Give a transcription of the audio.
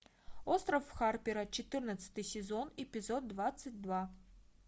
остров харпера четырнадцатый сезон эпизод двадцать два